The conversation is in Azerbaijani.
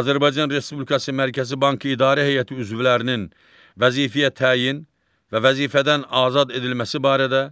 Azərbaycan Respublikası Mərkəzi Bankı İdarə Heyəti üzvlərinin vəzifəyə təyin və vəzifədən azad edilməsi barədə